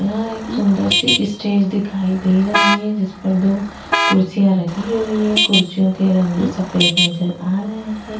यहाँ एक सुंदर सी इस्टेज दिखाई दे रही है जिसपर दो कुर्सियां रखी हुवी है कुर्सियों के रंग सफ़ेद नजर आ रहे है।